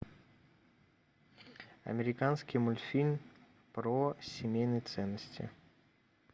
американский мультфильм про семейные ценности